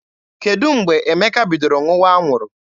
Kedụ mgbe Emeka bidoro ṅụwa anwụrụ?